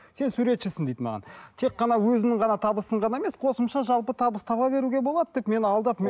сен суретшісің дейді маған тек қана өзіңнің ғана табысың ғана емес қосымша жалпы табыс таба беруге болады деп мені алдап